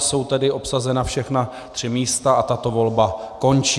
Jsou tedy obsazena všechna tři místa a tato volba končí.